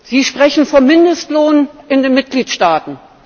Sie sprechen vom Mindestlohn in den Mitgliedstaaten.